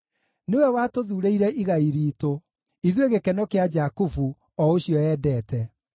Nĩwe watũthuurĩire igai riitũ, ithuĩ gĩkeno kĩa Jakubu, o ũcio eendete.